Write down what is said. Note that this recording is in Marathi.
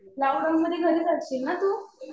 लॉक डाऊन मध्ये घरीच असशील ना तू.